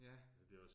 Ja